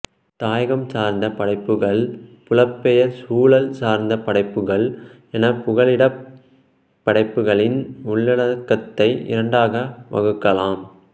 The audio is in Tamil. தாயகம் சார்ந்த படைப்புக்கள் புலம்பெயர் சூழல் சார்ந்த படைப்புக்கள் என புகலிடப் படைப்புக்களின் உள்ளடக்கத்தை இரண்டாக வகுக்கலாம்